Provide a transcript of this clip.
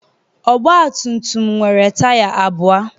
ọgbatumtum nwere taya abụọ